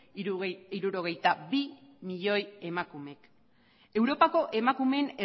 hirurogeita bi milioi emakumek europako emakumeen